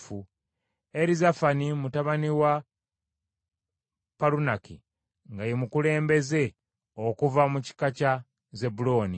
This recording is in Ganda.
Erizafani mutabani wa Palunaki nga ye mukulembeze okuva mu kika kya Zebbulooni.